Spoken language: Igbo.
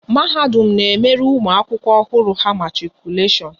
Mahadum na emere ụmụ akwụkwọ ọhụrụ ha matikuleshon